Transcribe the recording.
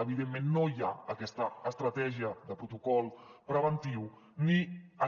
evidentment no hi ha aquesta estratègia de protocol preventiu ni